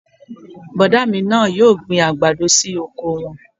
Bọ̀dá mi náà yóò gbin àgbàdo sí oko wọn